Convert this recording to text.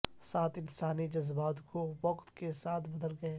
سات انسانی جذبات جو وقت کے ساتھ بدل گئے